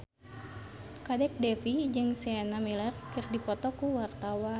Kadek Devi jeung Sienna Miller keur dipoto ku wartawan